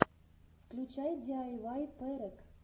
включай диайвай перек